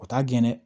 O t'a gɛn dɛ